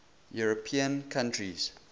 european countries